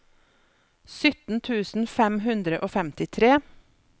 sytten tusen fem hundre og femtitre